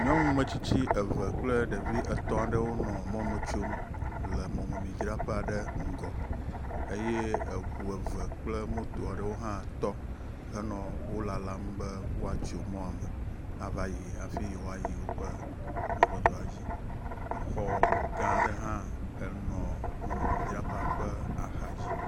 Nyɔnun ame tsitsi eve kple ɖevi etɔ̃ aɖewo nɔ mɔme tsom le mɔmemidzraƒe aɖe ŋgɔ eye eŋu eve kple moto aɖewo hã tɔ henɔ wo lalam be woatso mɔme ava yi hafi yewoayi yewo ƒe mɔzɔzɔa dzi. Exɔ gã aɖe hã enɔ mɔmeidzraƒea ƒe axadzi.